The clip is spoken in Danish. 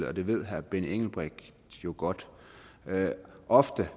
og det ved herre benny engelbrecht jo godt ofte